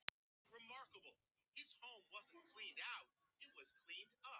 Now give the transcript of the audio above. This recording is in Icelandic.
Mér finnst þér fara vel að vera svona.